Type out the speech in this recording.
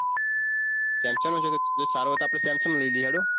samsang નો છે સારો હોય તો આપણેય Samsung નો લય લિયે